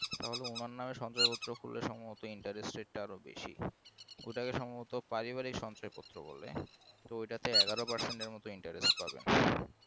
তাহলে উনার নামে সঞ্চয়পত্র করলে সম্ভবত interest টা বেশি ওটাকে সম্ভবত পারিবারিক সঞ্চয় পত্র বলে তো ওইটাতে এগারো percent এর মতো interest পাবে।